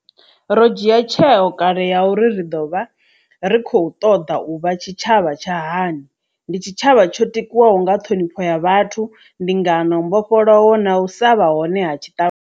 Ro dzhia tsheo kale ya uri ri ḓovha ri khou ṱoḓa u vha tshitshavha tsha hani. Ndi tshitshavha tsho tikwaho nga ṱhonifho ya vhathu, ndingano, mbofholowo na u sa vha hone ha tshiṱa.